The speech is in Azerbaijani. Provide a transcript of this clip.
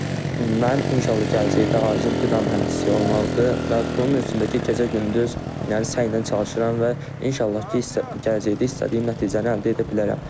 Və mənim inşallah gələcəkdə arzum qida mühəndisi olmaqdır və bunun üçün də ki, gecə-gündüz yəni səylə çalışıram və inşallah ki, gələcəkdə istədiyim nəticəni əldə edə bilərəm.